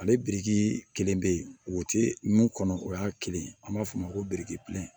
Ale biriki kelen bɛ yen o ti mun kɔnɔ o y'a kelen an b'a f'o ma ko biriki